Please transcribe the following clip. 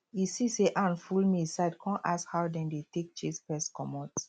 he see say ant full maize side come ask how dem dey take chase pest comot